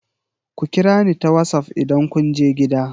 Ku kira ni ta wassaf idan kun je gida!